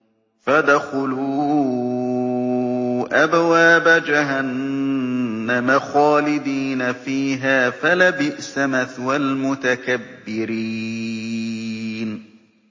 فَادْخُلُوا أَبْوَابَ جَهَنَّمَ خَالِدِينَ فِيهَا ۖ فَلَبِئْسَ مَثْوَى الْمُتَكَبِّرِينَ